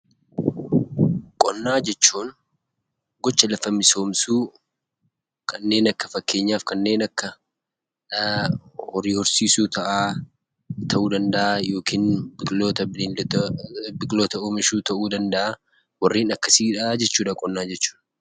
Qonnaa jechuun gocha lafa misoomsuu, fakkeenyaaf kanneen akka horii horsiisuu ta'uu danda'aa yookiin Biqiloota oomishuu ta'uu danda'aa, warreen akkasiidha jechuu dha qonna jechuun.